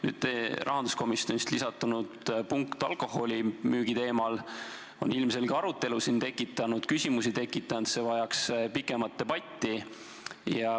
Nüüd rahanduskomisjonist lisandunud punkt alkoholimüügi teemal on ilmselge arutelu siin tekitanud, küsimusi tekitanud, see vajaks pikemat debatti.